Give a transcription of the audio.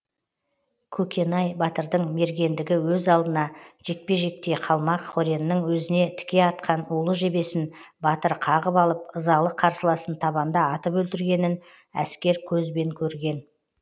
көкенай батырдың мергендігі өз алдына жекпе жекте қалмақ хореннің өзіне тіке атқан улы жебесін батыр қағып алып ызалы қарсыласын табанда атып өлтіргенін әскер көзбен көрген